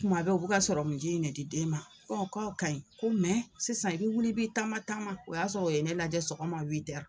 Kuma bɛɛ bɛ ka sɔrɔmunji in de di den ma k'o ka ɲi ko sisan i bɛ wuli i bɛ taama taama o y'a sɔrɔ o ye ne lajɛ sɔgɔma